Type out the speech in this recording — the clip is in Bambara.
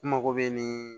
U mago bɛ nin